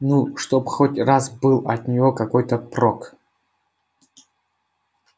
ну чтоб хоть раз был от нее какой-то прок